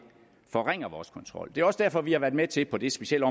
forringer vores kontrol det er også derfor at vi har været med til på det specielle